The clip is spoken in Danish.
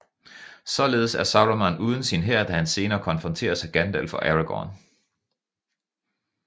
Således er Saruman uden sin hær da han senere konfronteres af Gandalf og Aragorn